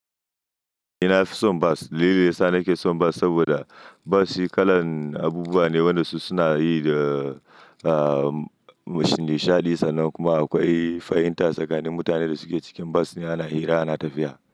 Eh, na fi son bas. Dalilai sa nake son bas saboda bas shi kalan abubuwa ne wanda su suna yi da, ah, m-shuni shaɗi sannan kuma akwai fahimta tsakanin mutanen da suke cikin bas yana hira, ana tafiya.